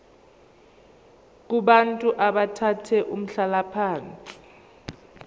kubantu abathathe umhlalaphansi